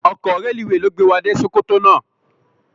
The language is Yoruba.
Òkò rélúwé ló gbé wá dé Sokoto làná